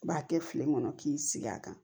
I b'a kɛ tile kɔnɔ k'i sigi a kan